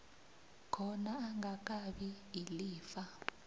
khona angakabi ilifa